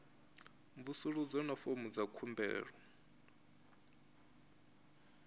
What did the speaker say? mvusuludzo na fomo dza khumbelo